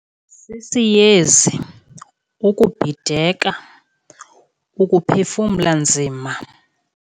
Sisiyezi, ukubhideka, ukuphefumla nzima.